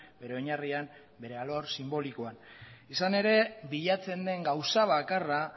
bere oinarrian bere alor sinbolikoan izan ere bilatzen den gauza bakarra